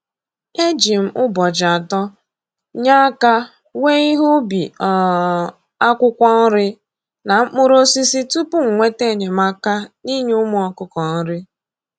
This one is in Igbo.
E ji m ụbọchị atọ nye aka wee ihe ubi um akwụkwọ nri na mkpụrụosisi tupu m nweta enyemaka na-inye ụmụ ọkụkọ nri